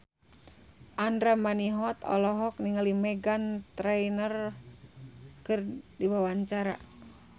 Andra Manihot olohok ningali Meghan Trainor keur diwawancara